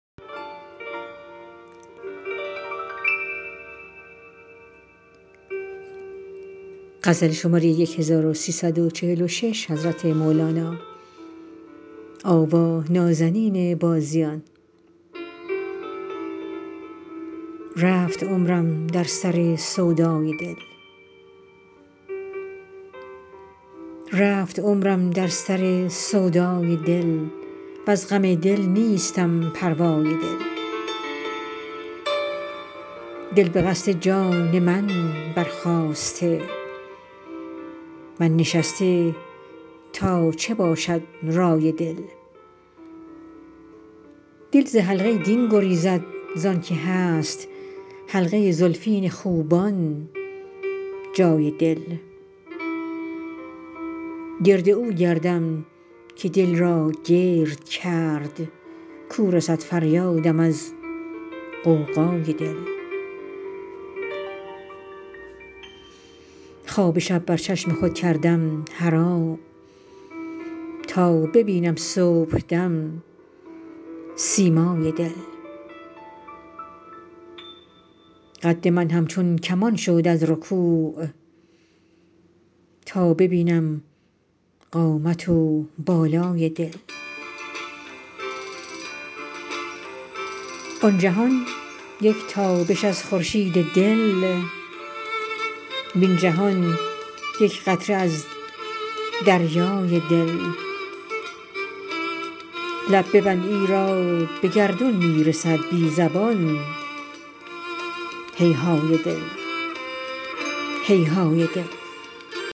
رفت عمرم در سر سودای دل وز غم دل نیستم پروای دل دل به قصد جان من برخاسته من نشسته تا چه باشد رای دل دل ز حلقه دین گریزد زانک هست حلقه زلفین خوبان جای دل گرد او گردم که دل را گرد کرد کو رسد فریادم از غوغای دل خواب شب بر چشم خود کردم حرام تا ببینم صبحدم سیمای دل قد من همچون کمان شد از رکوع تا ببینم قامت و بالای دل آن جهان یک تابش از خورشید دل وین جهان یک قطره از دریای دل لب ببند ایرا به گردون می رسد بی زبان هیهای دل هیهای دل